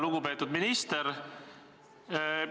Lugupeetud minister!